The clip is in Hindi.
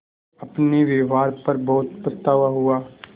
अपने व्यवहार पर बहुत पछतावा हुआ